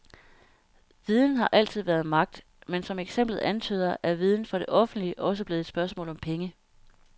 Viden har altid været magt, men som eksemplet antyder, er viden for det offentlige også blevet et spørgsmål om penge.